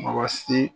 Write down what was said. Mɔgɔ si